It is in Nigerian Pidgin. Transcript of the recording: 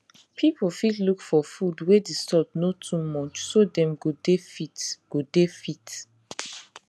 people fit look for food wey the salt no too much so dem go dey fit go dey fit